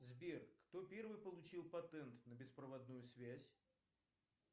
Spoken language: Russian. сбер кто первый получил патент на беспроводную связь